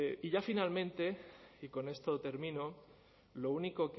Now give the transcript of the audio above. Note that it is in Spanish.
y ya finalmente y con esto termino lo único